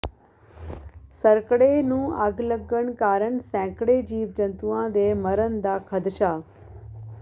ਸਰਕੜੇ ਨੂੰ ਅੱਗ ਲੱਗਣ ਕਾਰਨ ਸੈਂਕੜੇ ਜੀਵ ਜੰਤੂਆਂ ਦੇ ਮਰਨ ਦਾ ਖਦਸ਼ਾ